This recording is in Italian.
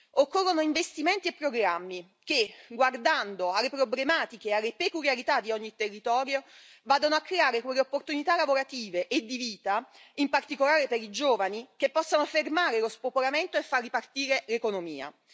Occorrono investimenti e programmi che, guardando alle problematiche e alle peculiarità di ogni territorio, vadano a creare quelle opportunità lavorative e di vita, in particolare per i giovani, che possano fermare lo spopolamento e far ripartire l'economia.